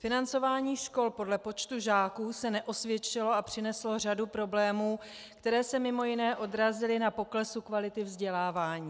Financování škol podle počtu žáků se neosvědčilo a přineslo řadu problémů, které se mimo jiné odrazily na poklesu kvality vzdělávání.